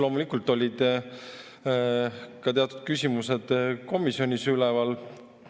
Loomulikult olid ka teatud küsimused komisjonis üleval.